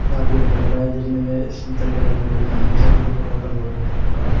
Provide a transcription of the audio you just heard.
यहां पे एक लड़का है जिसने भी संत्री कलर की वो पहन रखी है ब्ल्यू कलर का लोवर पहन रखा।